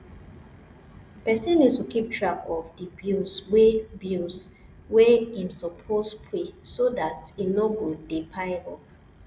person need to keep track of di bills wey bills wey im suppose pay so dat e no go de pile up